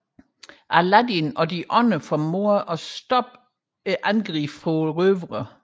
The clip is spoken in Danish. Aladdin og de andre formår at stoppe røvernes angreb